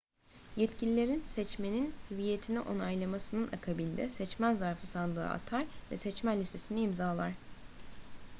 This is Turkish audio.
yetkililerin seçmenin hüviyetini onaylamasının akabinde seçmen zarfı sandığa atar ve seçmen listesini imzalar